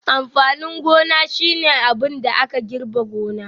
Amfanin gona shine abin da aka girbe gona